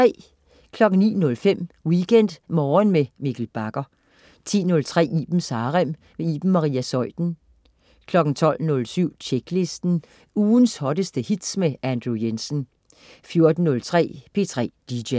09.05 WeekendMorgen med Mikkel Bagger 10.03 Ibens Harem. Iben Maria Zeuthen 12.07 Tjeklisten. Ugens hotteste hits med Andrew Jensen 14.03 P3 DJ